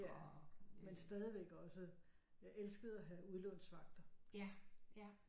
Men stadigvæk også jeg elskede at have udlånsvagter